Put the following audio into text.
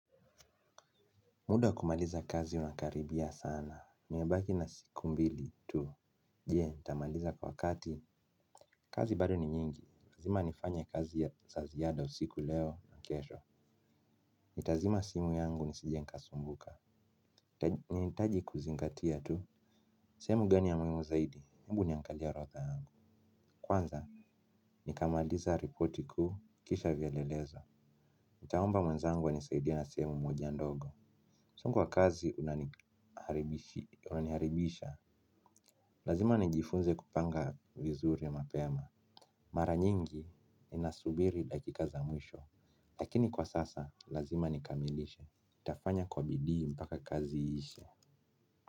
Muda wa kumaliza kazi unakaribia sana. Nimebaki na siku mbili tu. Je, nitamaliza kwa wakati. Kazi bado ni nyingi. Lazima nifanye kazi ya za ziada usiku leo na kesho. Nitazima simu yangu nisije nikasumbuka. Nahitaji kuzingatia tu. Sehemu gani ya muhimu zaidi. Ebu niangalie orodha yangu. Kwanza, nikamaliza ripoti ku. Kisha vielelezo. Nitaomba mwenzangu anisaidie na sehemu moja ndogo. Msongo wa kazi unaniharibisha. Lazima nijifunze kupanga vizuri mapema. Mara nyingi inasubiri dakika za mwisho. Lakini kwa sasa lazima nikamilishe nitafanya kwa bidii mpaka kazi ishe.